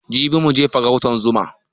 Jibi za muje farautan zuma